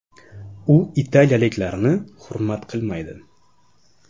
U italiyaliklarni hurmat qilmaydi”.